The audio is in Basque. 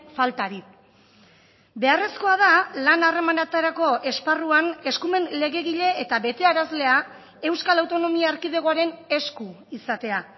faltari beharrezkoa da lan harremanetarako esparruan eskumen legegile eta betearazlea euskal autonomia erkidegoaren esku izatea